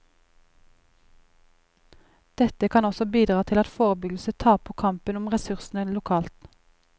Dette kan også bidra til at forebyggelse taper kampen om ressursene lokalt.